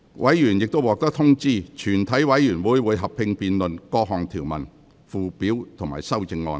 委員已獲通知，全體委員會會合併辯論各項條文、附表及修正案。